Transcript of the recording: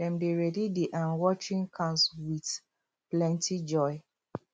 dem dey ready the um watering cans with plenty joy